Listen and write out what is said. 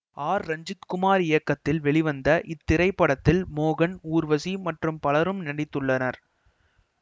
R Ranjith Kumar இயக்கத்தில் வெளிவந்த இத்திரைப்படத்தில் மோகன் ஊர்வசி மற்றும் பலரும் நடித்துள்ளனர்